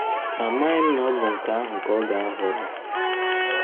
Amaghị m na ọ bụ nke ahụ ka ọ ga - ahọrọ!